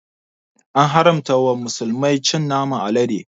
An haramta wa musulmai cin naman alade